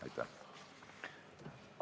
Aitäh!